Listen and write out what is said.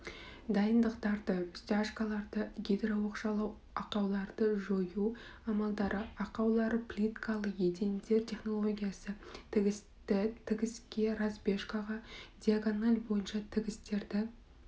дайындықтар стяжкалар гидрооқшаулау ақауларды жою амалдары ақаулары плиткалы едендер технологиясы тігісті тігіске разбежкаға диагональ бойынша тігістерді